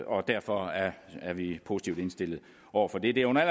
og derfor er er vi positivt indstillet over for det det er under